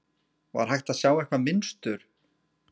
Var hægt að sjá eitthvað mynstur?